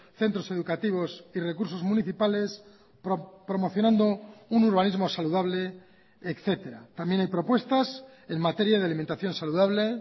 centros educativos y recursos municipales promocionando un urbanismo saludable etcétera también hay propuestas en materia de alimentación saludable